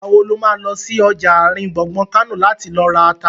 Ìgbà wo lo má lọ sí ọjà àrin gbùngbùn Kánò láti lọ ra ata?